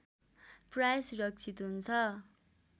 प्राय सुरक्षित हुन्छ